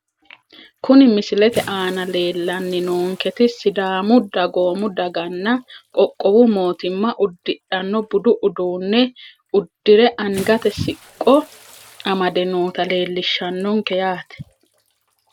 Kuni misilete aana leelishani noonketi sidaamu dagoomu dagana qoqowu mootima udidhano budu uduune udire angate siqqo amade noota leelishanonke yaate.